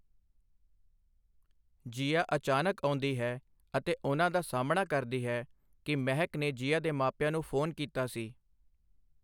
ਜੀਆ ਅਚਾਨਕ ਆਉਂਦੀ ਹੈ ਅਤੇ ਉਹਨਾਂ ਦਾ ਸਾਹਮਣਾ ਕਰਦੀ ਹੈ ਕਿ ਮਹਿਕ ਨੇ ਜੀਆ ਦੇ ਮਾਪਿਆਂ ਨੂੰ ਫੋਨ ਕੀਤਾ ਸੀ।